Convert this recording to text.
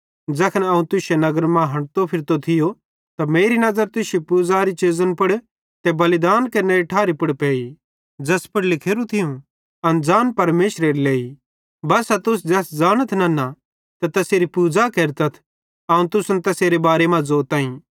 ज़ैखन अवं तुश्शे नगर मां हंठतो फिरतो थियो त मेरी नज़र तुश्शे पूज़नेरी चीज़न पुड़ ते बलिदानेरी ठारी पुड़ पेई ज़ैस पुड़ लिखोरू थियूं अनज़ान परमेशरेरे लेइ बस्सा तुस ज़ैस ज़ानथ नन्ना ते तैसेरी पूज़ा केरतथ अवं तुसन तैसेरे बारे मां ज़ोताईं